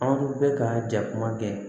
Anw dun bɛ ka ja kuma kɛ